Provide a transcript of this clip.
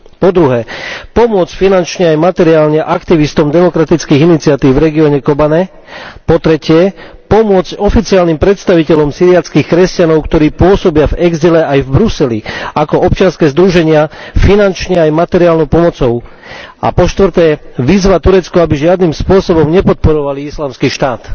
Po druhé, pomôcť finančne aj materiálne aktivistom demokratických iniciatív v regióne Kobane. Po tretie, pomôcť oficiálnym predstaviteľom syriackych kresťanov, ktorí pôsobia v exile aj v Bruseli ako občianske združenia, finančne aj materiálnou pomocou, a po štvrté, vyzvať Turecko, aby žiadnym spôsobom nepodporovali islamský štát.